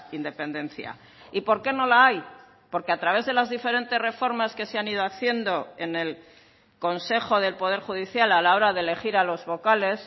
independencia y por qué no la hay porque a través de las diferentes reformas que se han ido haciendo en el consejo del poder judicial a la hora de elegir a los vocales